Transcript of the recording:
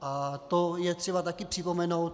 A to je třeba také připomenout.